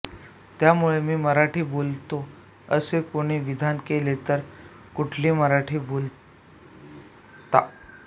त्यामुळे मी मराठी बोलतो असे कुणी विधान केले तर कुठली मराठी बोलता